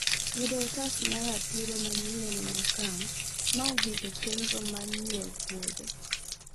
Yudo otas mar ratiro manyien en okang' ma ogik e chenro mar nyiewo puodho